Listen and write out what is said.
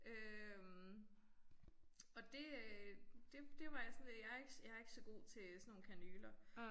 Øh og det øh det det var jeg sådan jeg ikke jeg ikke så god til sådan nogle kanyler